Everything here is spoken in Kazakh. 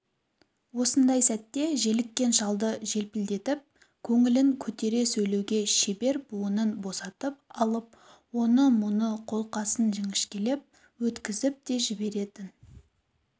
осындай сәтте желіккен шалды желпілдетіп көңілін көтере сөйлеуге шебер буынын босатып алып оны-мұны қолқасын жіңішкелеп өткізіп те жіберетін